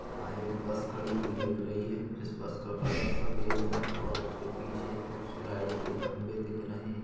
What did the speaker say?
यहाँ एक बस खड़ी हुई दिख रही है जिस बस का कलर सफ़ेद है और उसके पीछे कुछ लाइट के खम्बे दिख रहे हैं।